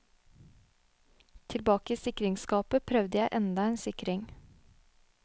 Tilbake i sikringsskapet prøvde jeg enda en sikring.